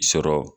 Sɔrɔ